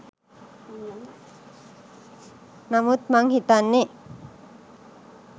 නමුත් මං හිතන්නේ